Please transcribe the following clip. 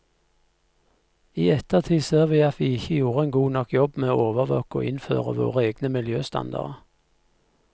I ettertid ser vi at vi ikke gjorde en god nok jobb med å overvåke og innføre våre egne miljøstandarder.